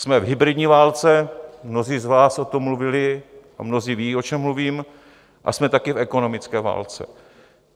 Jsme v hybridní válce, mnozí z vás o tom mluvili a mnozí vědí, o čem mluvím, a jsme taky v ekonomické válce.